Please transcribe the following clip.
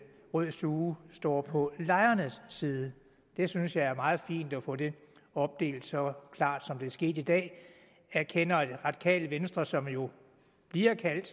rød stue står på lejernes side jeg synes det er meget fint at få det opdelt så klart som det er sket i dag jeg erkender at radikale venstre som jo bliver kaldt et